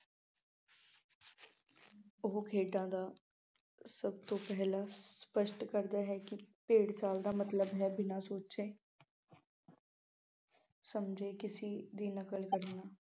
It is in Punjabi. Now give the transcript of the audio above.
ਉਹ ਭੇਡਾਂ ਦਾ ਸਭ ਤੋਂ ਪਹਿਲਾਂ ਸਪੱਸ਼ਟ ਕਰਦਾ ਹੈ ਕਿ ਭੇਡ ਚਾਲ ਦਾ ਮਤਲਬ ਹੈ ਬਿਨਾ ਸੋਚੇ ਸਮਝੇ ਕਿਸੀ ਦੀ ਨਕਲ ਕਰਨਾ।